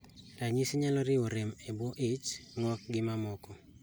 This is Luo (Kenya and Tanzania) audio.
Ranyisi nyalo riwo rem e buo ich, ng'ok gi mamoko